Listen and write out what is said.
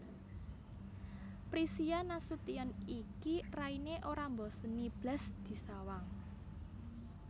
Prisia Nasution iki raine ora mboseni blas disawang